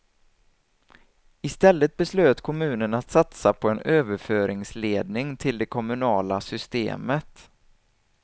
Istället beslöt kommunen att satsa på en överföringsledning till det kommunala systemet.